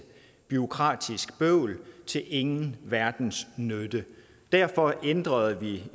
bureaukratisk bøvl til ingen verdens nytte derfor ændrede vi